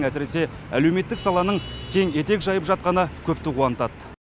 әсіресе әлеуметтік саланың кең етек жайып жатқаны көпті қуантады